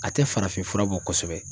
A tɛ farafin fura bɔ kɔsɛbɛ.